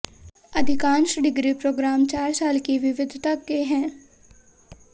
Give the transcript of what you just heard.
अधिकांश degree programme चार साल की विविधता के हैं